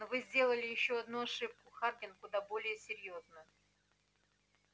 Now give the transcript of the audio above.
но вы сделали ещё одну ошибку хардин куда более серьёзную